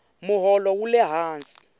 moholo wule hansi